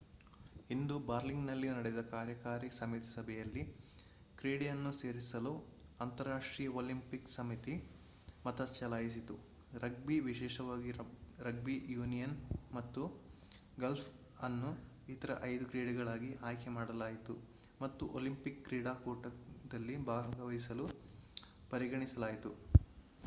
ಇಂದು ಬರ್ಲಿನ್‌ನಲ್ಲಿ ನಡೆದ ಕಾರ್ಯಕಾರಿ ಸಮಿತಿ ಸಭೆಯಲ್ಲಿ ಕ್ರೀಡೆಯನ್ನು ಸೇರಿಸಲು ಅಂತರರಾಷ್ಟ್ರೀಯ ಒಲಿಂಪಿಕ್ ಸಮಿತಿ ಮತ ಚಲಾಯಿಸಿತು. ರಗ್ಬಿ ವಿಶೇಷವಾಗಿ ರಗ್ಬಿ ಯೂನಿಯನ್ ಮತ್ತು ಗಾಲ್ಫ್ ಅನ್ನು ಇತರ ಐದು ಕ್ರೀಡೆಗಳಾಗಿ ಆಯ್ಕೆ ಮಾಡಲಾಯಿತು ಮತ್ತು ಒಲಿಂಪಿಕ್ ಕ್ರೀಡಾಕೂಟದಲ್ಲಿ ಭಾಗವಹಿಸಲು ಪರಿಗಣಿಸಲಾಯಿತು